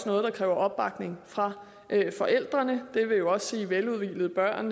noget der kræver opbakning fra forældrene og det vil jo også sige veludhvilede børn